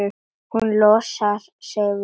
Hún losar sig frá honum.